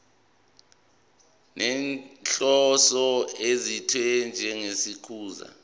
nenhloso ethize njengokuchaza